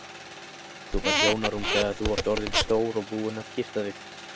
Þú færð hjónarúm þegar þú ert orðinn stór og búinn að gifta þig.